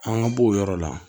An ka bɔ o yɔrɔ la